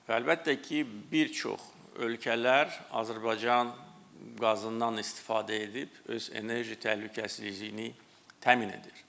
Və əlbəttə ki, bir çox ölkələr Azərbaycan qazından istifadə edib öz enerji təhlükəsizliyini təmin edir.